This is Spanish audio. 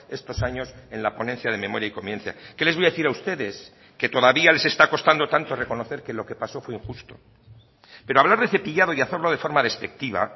estos años en la ponencia de memoria y convivencia qué les voy a decir a ustedes que todavía les está costando tanto reconocer que lo que pasó fue injusto pero hablar de cepillado y hacerlo de forma despectiva